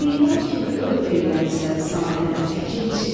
Heyvan kimi ömr eyləmisən sadə, əkinçi.